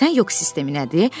Bilirsən yox sistemi nədir?